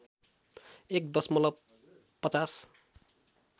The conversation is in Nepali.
१ दशमलव ५०